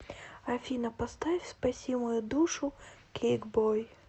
афина поставь спаси мою душу кейкбой